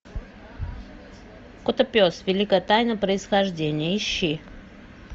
котопес великая тайна происхождения ищи